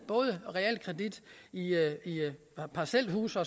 realkredit i parcelhuse